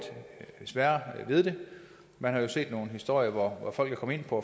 sværere ved det man har jo set nogle historier hvor folk er kommet ind på